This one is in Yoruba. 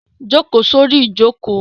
Jókòó sórí ìjókòó!